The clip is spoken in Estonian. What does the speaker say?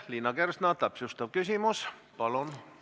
Liina Kersna, täpsustav küsimus, palun!